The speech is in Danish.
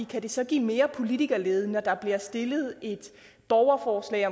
kan det så give mere politikerlede når der bliver stillet et borgerforslag